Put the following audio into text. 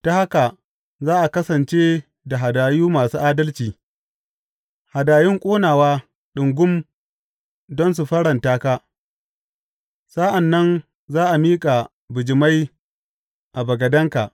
Ta haka za a kasance da hadayu masu adalci, hadayun ƙonawa ɗungum don su faranta ka; sa’an nan za a miƙa bijimai a bagadenka.